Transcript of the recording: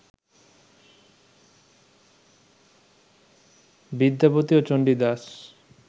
বিদ্যাপতি ও চন্ডীদাস